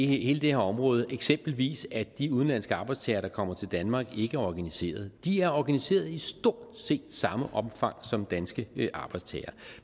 hele det her område eksempelvis at de udenlandske arbejdstagere der kommer til danmark ikke er organiseret de er organiseret i stort set samme omfang som danske arbejdstagere